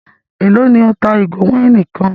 Élò ní ẹ́ ń ta ìgò wáìnì kan?